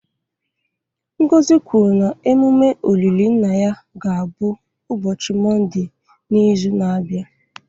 Ngozi kwuru na emume olili nna ya ga-abụ ụbọchị Mọnde n'izu na-abịa.